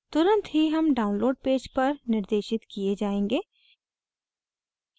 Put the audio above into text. तुरंत ही हम download page पर निर्देशित किये जायेंगे